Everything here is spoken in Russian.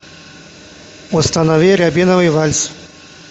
установи рябиновый вальс